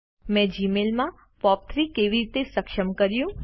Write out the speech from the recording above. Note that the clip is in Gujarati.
મેં જીમેલમાં પોપ3 કેવી રીતે સક્ષમ કર્યું